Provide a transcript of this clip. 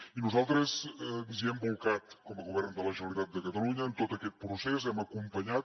i nosaltres ens hi hem bolcat com a govern de la generalitat de catalunya en tot aquest procés hem acompanyat